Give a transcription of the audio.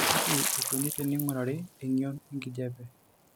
Kaji eikoni teneing'urari eng'ion enkijiape?